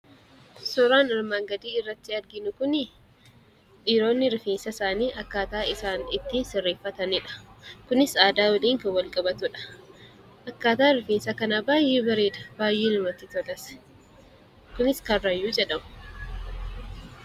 Suuraan armaan gadii irratti arginu kuni dhiironni rifeensa isaanii akkaataa isaan itti sirreeffataniidha. Kunis aadaa waliin kan wal qabatuu dha. Akkaataan rifeensa kanaa baay'ee bareeda; baay'ee namatti tolas. Kunis Karrayyuu jedhama.